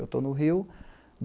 Eu estou no Rio.